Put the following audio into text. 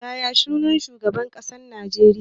Yaya sunan shugaban ƙasar Najeriya?